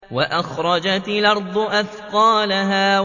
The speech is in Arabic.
وَأَخْرَجَتِ الْأَرْضُ أَثْقَالَهَا